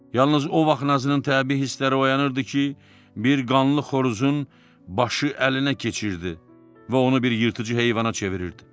Yalnız o vaxt Nazının təbii hissləri oyanırdı ki, bir qanlı xoruzun başı əlinə keçirdi və onu bir yırtıcı heyvana çevirirdi.